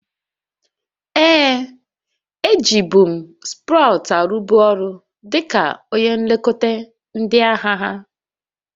Ee, e ji bụ m Sprout arụbu ọrụ dịka onye nlekọta ndị ahịa ha